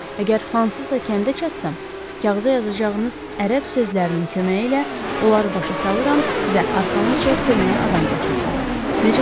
Əgər hansısa kəndə çatsam, kağıza yazacağınız ərəb sözlərinin köməyi ilə onları başa salıram və arxanızca köməyə adam gətirirəm.